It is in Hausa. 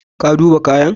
Ka uba kayan?